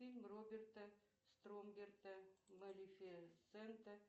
фильм роберта стромберта малифисента